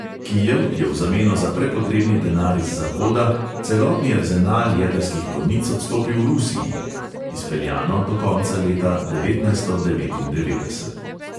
Kijev je v zameno za prepotrebni denar iz zahoda celotni arzenal jedrskih konic odstopil rusiji (izpeljano do konca leta devetnajststo devetindevetdeset).